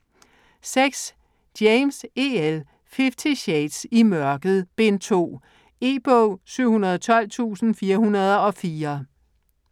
James, E. L.: Fifty shades: I mørket: Bind 2 E-bog 712404